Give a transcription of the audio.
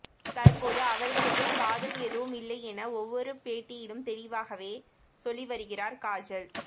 தற்போது அவர்களுக்குள் காதல் எதுவும் இல்லையென ஒவ்வொரு பேட்டியிலும் தெளிவாகவே சொல்லி வருகிறார் காஜல்